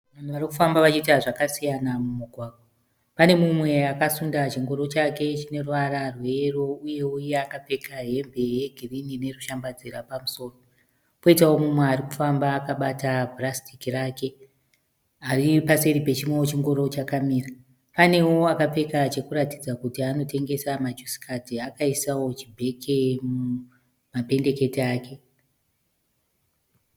Vanhu varikufamba vachiita zvakasiyana mumugwagwa. Pane mumwe akasunda chingoro chake chine ruvara rweyero uyewo iye akapfeka hembe ye girinhi nerushambadzira pamusoro. Poita mumwe arikufamba akabata purasitiki rake aripaseri pechimwewo chingoro chakamira. Panewo akapfeka chekuratidza kuti anotengesa ma jusi kadhi akaisawo chi bheke mumapendekete ake.